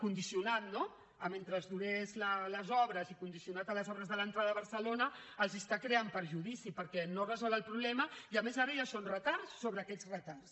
condicionat no a mentre duressin les obres i condicionat a les obres de l’entrada a barcelona els crea perjudici perquè no resol el problema i a més ara ja són retards sobre aquests retards